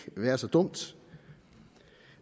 være så dumt